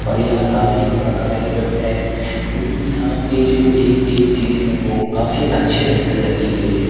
और यहाँ काफी बड़ा कार्यक्रम है क्योंकि यहाँ पे जो एक-एक चीज है वो काफी अच्छे ढंग से रखी गई हैं।